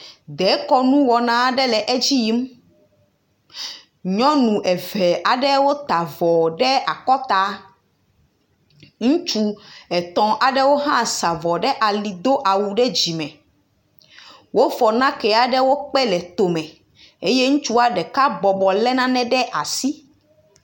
Dekɔnu wɔna aɖe le edi yim. Nyɔnu eve aɖewo tw avɔ ɖe akɔta. Ŋutsu etɔ̃ aɖewo hã sa avɔ ɖe ali do awu ɖe dzi me. Wofɔ nakee aɖe kpe le to me eye ŋutsua ɖeka bɔbɔ le nane ɖe asi.